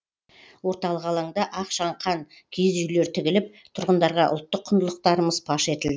орталық алаңда ақ шаңқан киіз үйлер тігіліп тұрғындарға ұлттық құндылықтарымыз паш етілді